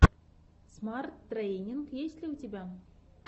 смарт трэйнинг есть ли у тебя